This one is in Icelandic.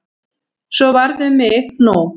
Svo varð um mig nú.